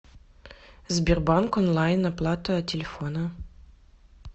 сбербанк онлайн оплата телефона